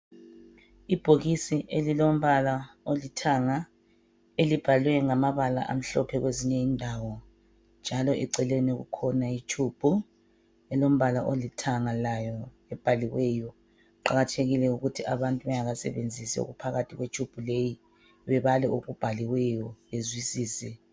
Ibhokisi elilombala olithanga elibhalwe ngamabala amhlophe kwezinye indawo njalo eceleni kukhona itshubhu elombala olithanga layo ebhaliweyo. Kuqakathekile ukuthi abantu bengakasebenzisi okuphakathi kwetshubhu le bebale okubhaliweyo bezwisise.